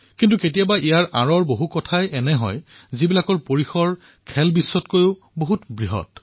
কিন্তু কেতিয়াবা কেতিয়াবা ইয়াৰ অন্তৰালতো এনে বহু কথা থাকে যি ক্ৰীড়া বিশ্বতকৈও ডাঙৰ হৈ উঠে